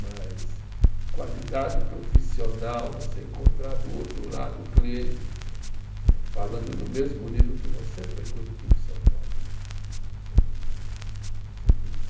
Mas qualidade profissional, você encontrar do outro lado o cliente eh falando no mesmo nível que você, foi Curitiba e São Paulo né, sem dúvida nenhuma, sem dúvida